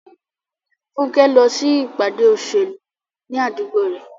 Funke lọ sí ìpàdé òṣèlú ní àdúgbò rẹ̀.